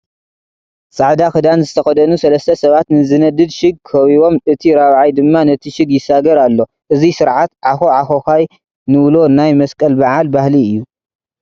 ፃዕዳ ክዳን ዝተኸደኑ ሰለስተ ሰባት ንዝነድድ ሽግ ከቢቦም እቲ ራብዓይ ድማ ነቲ ሽግ ይሳገር ኣሎ፡፡ እዚ ስርዓት ዓኾዓኾዃይ ንብሎ ናይ መስቀል በዓል ባህሊ እዩ፡፡